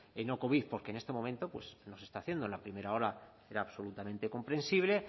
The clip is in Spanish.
de no covid porque en este momento pues no se está haciendo en la primera ola era absolutamente comprensible